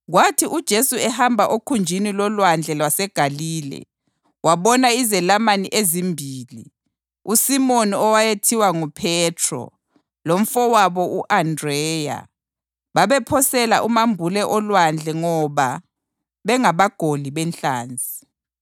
Kwathi uJesu ehamba okhunjini loLwandle lwaseGalile wabona izelamani ezimbili, uSimoni owayethiwa nguPhethro lomfowabo u-Andreya. Babephosela umambule olwandle ngoba bengabagoli benhlanzi.